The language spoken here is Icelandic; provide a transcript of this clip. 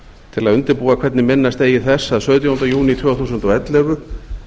til að undirbúa hvernig minnast eigi þess að sautjánda júní tvö þúsund og ellefu